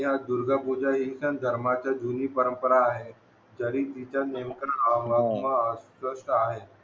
दुर्गा पूजा हि एकाच धर्माची जुनी परंपरा आहे ज्याने